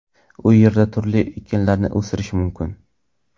U yerda turli ekinlarni o‘stirish mumkin.